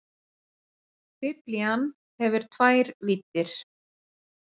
Biblían hefur tvær víddir.